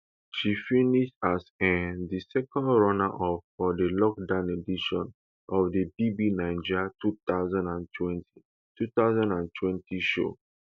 she finish as um di second runner up for dilockdown edition of di bbnaija two thousand and twenty two thousand and twenty show